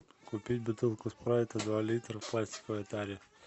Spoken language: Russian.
купить бутылку спрайта два литра в пластиковой таре